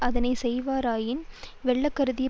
அதனை செய்வாராயின் வெல்ல கருதிய